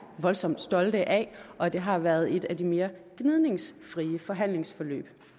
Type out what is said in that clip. voldsomt stolte af og det har været et af de mere gnidningsfri forhandlingsforløb